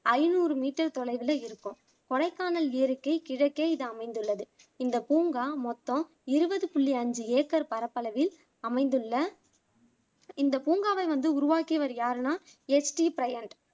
ஐநூறு மீட்டர் தொலைவுல இருக்கும் கொடைக்கானல் ஏரிக்கு கிழக்கே இது அமைந்துள்ளது இந்த பூங்கா மொத்தம் இருபது புள்ளி அஞ்சு ஏக்கர் பரப்பளவில் அமைந்துள்ள இந்த பூங்காவை வந்து உருவாக்கியர் யாருன்னா எஸ் டி ப்ரையன்ட்